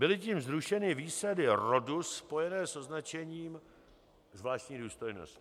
Byly tím zrušeny výsady rodu spojené s označením zvláštní důstojnosti.